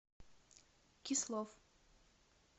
кислов